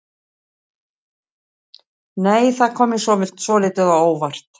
Nei! Það kom mér svolítið á óvart!